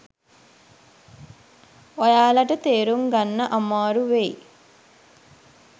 ඔයාලට තේරුම් ගන්න අමාරු වෙයි.